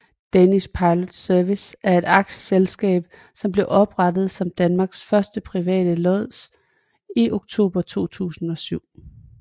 Danish Pilot Service er et aktieselskab som blev oprettet som Danmarks første private lods i oktober 2007